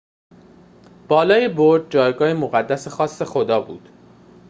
بالای برج جایگاه مقدس خاص خدا بود